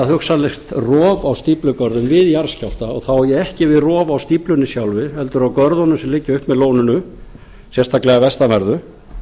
hugsanlegt rof á stíflugörðum við jarðskjálfta og þá á ég ekki við rof á stíflunni sjálfri heldur á görðunum sem liggja upp með lóninu sérstaklega að vestanverðu